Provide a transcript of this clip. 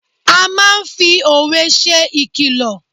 A máa ń fi òwe ṣe ìkìlọ̀.